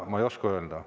Ma ei oska öelda.